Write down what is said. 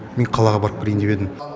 мен қалаға барып келейін деп едім